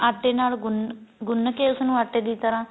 ਆਟੇ ਨਾਲ ਗੁੰਨ ਗੁੰਨ ਕੇ ਉਸ ਨੂੰ ਆਟੇ ਦੀ ਤਰ੍ਹਾਂ